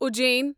Ujjain